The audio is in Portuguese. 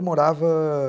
morava...